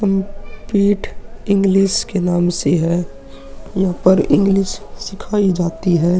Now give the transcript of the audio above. English के नाम से है। यहां पर इंग्लिश सिखाई जाती है।